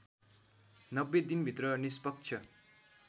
९० दिनभित्र निष्पक्ष